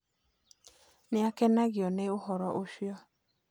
Nĩakenagio nĩ ũhoro ũcio.